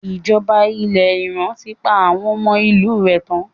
Ìjọba ilẹ̀ Iran ti pa àwọn ọmọ ìlú rẹ̀ tán.